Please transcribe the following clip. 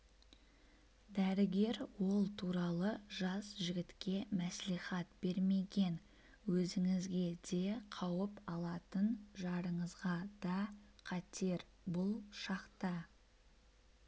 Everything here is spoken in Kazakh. дәрігер ол туралы жас жігітке мәслихат бермеген өзіңізге де қауіп алатын жарыңызға да қатер бұл шақта